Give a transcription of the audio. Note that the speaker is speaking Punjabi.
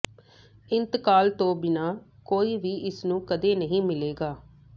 ਇੰਤਕਾਲ ਤੋਂ ਬਿਨਾਂ ਕੋਈ ਵੀ ਇਸ ਨੂੰ ਕਦੇ ਨਹੀਂ ਮਿਲੇਗਾ